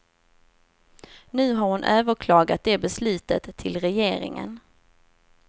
Nu har hon överklagat det beslutet till regeringen.